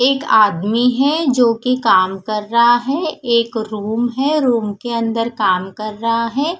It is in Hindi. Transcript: एक आदमी है जोकि काम कर रहां है एक रूम है रूम के अंदर काम कर रहां है।